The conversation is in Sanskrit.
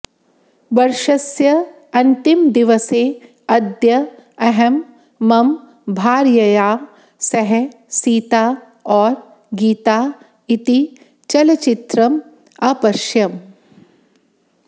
वर्षस्य अन्तिमदिवसे अद्य अहं मम भार्यया सह सीता और गीता इति चलचित्रम् अपश्यम्